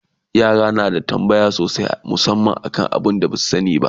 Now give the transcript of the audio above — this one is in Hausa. yara na da tambaya sosai musamman kan abun da Basu sani ba